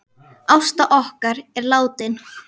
Ásta okkar er látin.